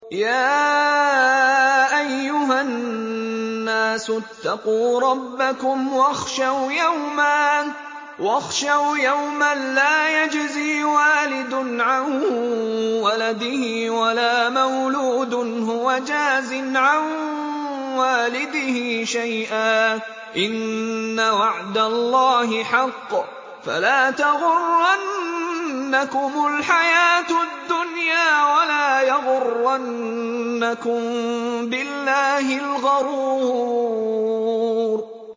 يَا أَيُّهَا النَّاسُ اتَّقُوا رَبَّكُمْ وَاخْشَوْا يَوْمًا لَّا يَجْزِي وَالِدٌ عَن وَلَدِهِ وَلَا مَوْلُودٌ هُوَ جَازٍ عَن وَالِدِهِ شَيْئًا ۚ إِنَّ وَعْدَ اللَّهِ حَقٌّ ۖ فَلَا تَغُرَّنَّكُمُ الْحَيَاةُ الدُّنْيَا وَلَا يَغُرَّنَّكُم بِاللَّهِ الْغَرُورُ